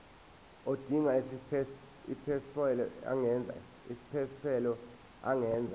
odinga isiphesphelo angenza